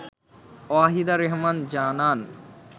ওয়াহিদা রেহমান জানান